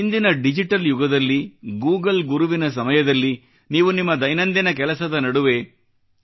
ಇಂದಿನ ಡಿಜಿಟಲ್ ಯುಗದಲ್ಲಿ ಗೂಗಲ್ ಗುರುವಿನ ಸಮಯದಲ್ಲಿ ನೀವು ನಿಮ್ಮ ದೈನಂದಿನ ಕೆಲಸದ ನಡುವೆ